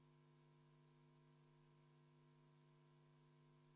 Austatud Riigikogu, vaheaeg on lõppenud ja tundub, et meie kolleegi probleemid on lahendatud.